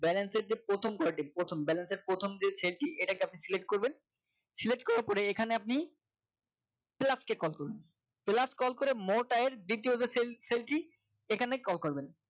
balance এর যে প্রথম call টি প্রথম balance এর প্রথম যে cell টি এটা কে আপনি select করবেন select করার পরে এখানে আপনি plus কে call করবেন plus call করে মোট আয়ের দ্বিতীয় যে cell টি এখানে call করবেন